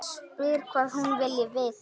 Spyr hvað hún vilji vita.